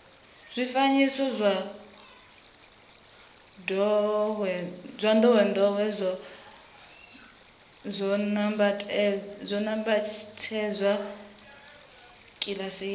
zwifanyiso zwa ndowendowe zwo nambatsedzwa kilasini